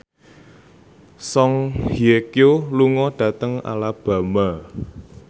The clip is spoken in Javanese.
Song Hye Kyo lunga dhateng Alabama